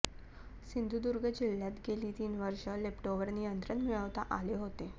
सिंधुदुर्ग जिल्हय़ात गेली तीन वर्षे लेप्टोवर नियंत्रण मिळवता आले होते